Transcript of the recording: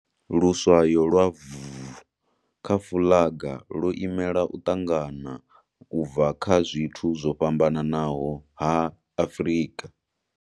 Luswayo lwa Vkha fuḽaga lwo imeala u ṱangana u bva kha zwithu zwo fhambanaho ha Afrika.